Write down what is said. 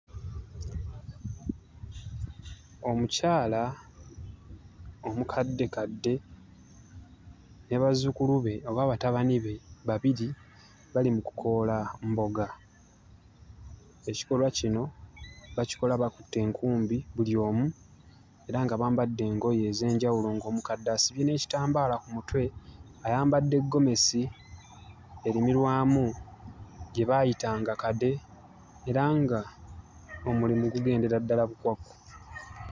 Omukyala omukaddekadde ne bazzukulu be oba batabani be babiri bali mu kukoola mboga. Ekikolwa kino bakikola bakutte enkumbi buli omu, era nga bambadde engoye ez'enjawulo ng'omukadde asibye n'ekitambaala ku mutwe, ayambadde gomesi erimirwamu gye baayitanga kade era ng'omulimu gugendera ddala bukwakku.